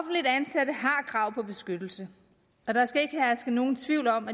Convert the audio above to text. krav på beskyttelse og der skal ikke herske nogen tvivl om